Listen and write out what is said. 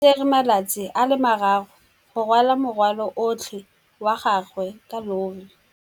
O tsere malatsi a le marraro go rwala morwalo otlhe wa gagwe ka llori.